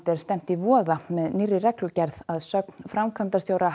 er stefnt í voða með nýrri reglugerð að sögn framkvæmdastjóra